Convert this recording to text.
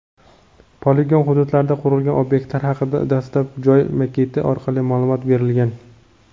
Poligon hududida qurilgan ob’ektlar haqida dastlab joy maketi orqali ma’lumot berilgan.